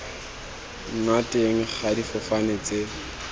nna teng ga difofane tse